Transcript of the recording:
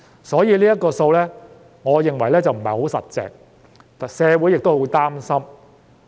所以，我認為這數字並不牢靠，社會也十分擔心。